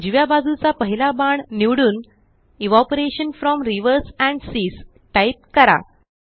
उजव्या बाजूचा पहिला बाण निवडून evaporation from rivers and seas type करा